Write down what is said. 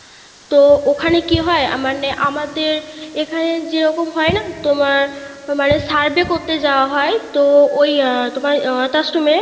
তো ওখানে কি হয় মানে আমাদের এখানে যেরকম করা হয় না তোমার মানে survey করতে যাওয়া হয়, তো ওই তোমার অ্যাঁ অনাথ আশ্রমে